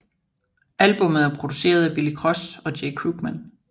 Albummet er produceret af Billy Cross og Jay Krugman